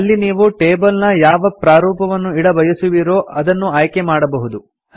ಅಲ್ಲಿ ನೀವು ಟೇಬಲ್ ನ ಯಾವ ಪ್ರಾರೂಪವನ್ನು ಇಡಬಯಸುವಿರೋ ಅದನ್ನು ಆಯ್ಕೆಮಾಡಬಹುದು